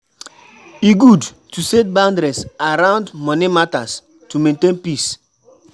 E good to set boundaries around money matters to maintain peace.